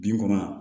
Bin kɔnɔ